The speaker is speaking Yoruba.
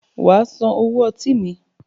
Wàá San owó ọtí mi.